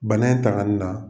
Bana in tagali la.